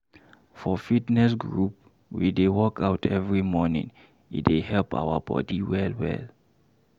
For fitness group, we dey workout every morning, e dey help our body well.